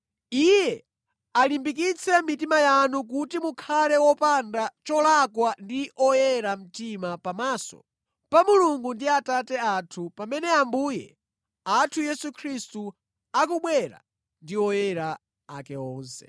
Iye alimbikitse mitima yanu kuti mukhale opanda cholakwa ndi oyera mtima pamaso pa Mulungu ndi Atate athu pamene Ambuye athu Yesu akubwera ndi oyera ake onse.